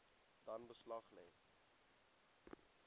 dan beslag lê